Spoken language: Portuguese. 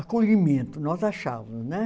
Acolhimento, nós achávamos, né?